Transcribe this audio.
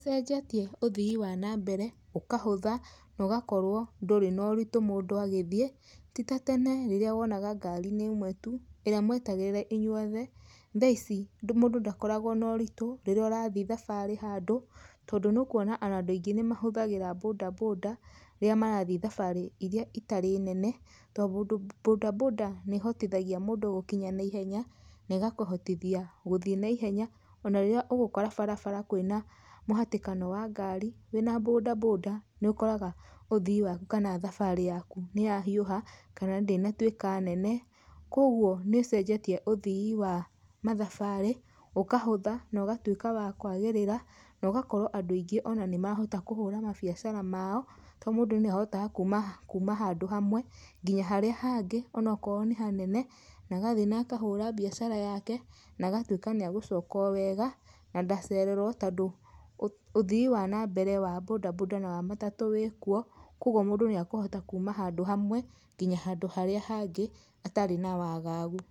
Ĩcenjetie ũthii wa nambere ũkahũtha nogakorwo ndũrĩ noritũ mũndũ agĩthiĩ, ti ta tene rĩrĩa wonaga ngari nĩ ĩmwe tu, ĩrĩa mwetagĩrĩra inyuothe, thaici mũndũ ndakoragwo noritũ rĩrĩa ũrathiĩ thabarĩ handũ, tondũ nĩ ũkuona ona andũ aingĩ nĩ mahũthagĩra bodaboda, rĩrĩa marathiĩ thabarĩ iria itarĩ nene tondũ bodaboda nĩ ĩhotithagia mũndũ gũkinya na ihenya, negakũhotithia gũthiĩ naihenya, ona rĩrĩa ũgũkora barabara kwĩna mũhatĩkano wa ngari, wĩna bodaboda nĩ ũkoraga ũthii waku kana thabarĩ yaku nĩyahiũha, kana ndĩnatuĩka nene. Kwoguo nĩ ĩcenjetie ũthii wa mathabarĩ, ũkahũtha nogatuĩka wa kwagĩrĩra nogakorwo andũ aingĩ ona nĩmahota kũhũra mabiacara mao, to mũndũ nĩ ahotaga kuuma, kuuma handũ hamwe, nginya harĩa hangĩ onokorwo nĩ hanene, na agathiĩ na akahũra biacara yake na agatuĩka nĩ agũcoka o wega na ndacererwo tondũ ũthii wa nambere wa bodaboda na matatũ wĩkuo, kwogwo mũndũ nĩ ekũhota kuuma handũ hamwe nginya handũ harĩa hangĩ atarĩ na wagagu.